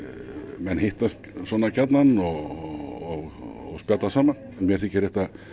menn hittast svona gjarnan og spjalla saman mér þykir þetta